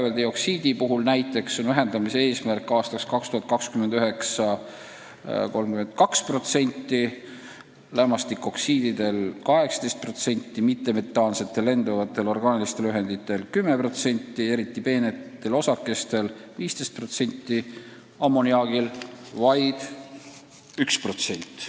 Need protsendid on toodud võrreldes aastaga 2005 ja need on järgmised: vääveldioksiid – 32%, lämmastikoksiid – 18%, mittemetaansed lenduvad orgaanilised ühendid – 10%, eriti peened osakesed – 15%, ammoniaak – vaid 1%.